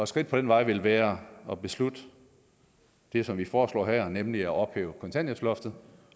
skridt på den vej vil være at beslutte det som vi foreslår her nemlig at ophæve kontanthjælpsloftet